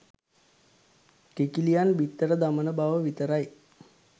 කිකිළියන් බිත්තර දමන බව විතරයි.